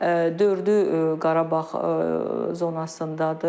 Dördü Qarabağ zonasındadır.